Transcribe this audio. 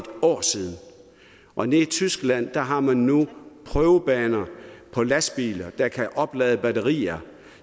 år siden og nede i tyskland har man nu prøvebaner for lastbiler der kan oplade batterier